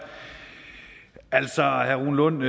altså herre rune lund